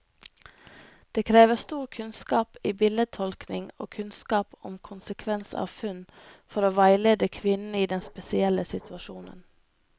Det krever stor kunnskap i bildetolkning og kunnskap om konsekvens av funn, for å veilede kvinnen i denne spesielle situasjonen.